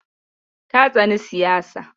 Ta tsani siyasa.